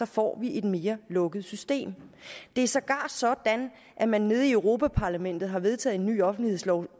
får et mere lukket system det er sågar sådan at man nede i europa parlamentet har vedtaget en ny offentlighedslov